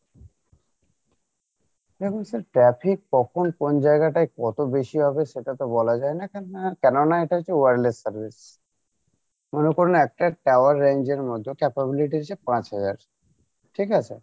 দেখুন sir traffic কখন কোন জায়গায়টাই কত বেশি হবে সেটা তো বলা যায়না কেননা এটা হচ্ছে wireless service মনে করুন একটা tower range এর মধ্যে পাচহাজার ঠিক আছে?